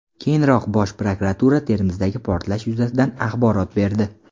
Keyinroq Bosh prokuratura Termizdagi portlash yuzasidan axborot berdi .